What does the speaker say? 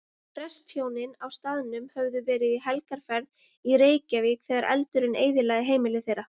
Prestshjónin á staðnum höfðu verið í helgarferð í Reykjavík þegar eldurinn eyðilagði heimili þeirra.